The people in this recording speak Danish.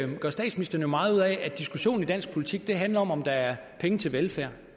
nu gør statsministeren jo meget ud af at diskussionen i dansk politik handler om om der er penge til velfærd